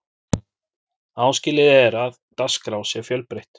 áskilið er að dagskrá sé fjölbreytt